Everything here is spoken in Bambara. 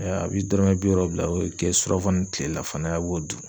a' bi dɔrɔmɛ bi wɔɔrɔ bila o be kɛ surafan ni tilelafana a' b'o dun.